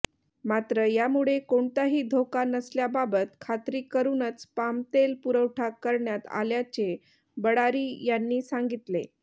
मात्र यामुळे कोणताही धोका नसल्याबाबत खात्री करूनच पामतेल पुरवठा करण्यात आल्याचे बळ्ळारी यांनी सांगितले